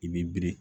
I bi biri